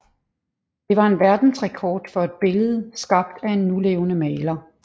Det var verdensrekord for et billede skabt af en nulevende maler